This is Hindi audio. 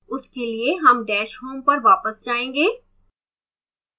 उसके लिए हम dash home पर वापस जायेंगे